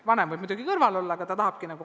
Vanem võib muidugi kõrval olla.